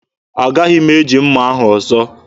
Agaghị m eji mma ahụ ọzọ.